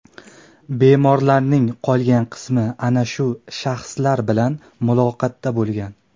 Bemorlarning qolgan qismi ana shu shaxslar bilan muloqotda bo‘lishgan.